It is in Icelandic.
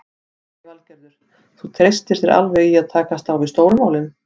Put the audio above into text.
Lillý Valgerður: Þú treystir þér alveg í að takast á við stóru málin?